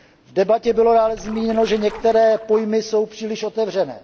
V debatě bylo dále zmíněno, že některé pojmy jsou příliš otevřené.